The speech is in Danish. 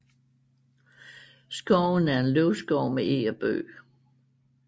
Skoven er en løvskov med eg og bøg